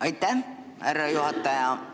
Aitäh, härra juhataja!